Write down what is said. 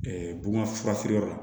bonya fura feere yɔrɔ la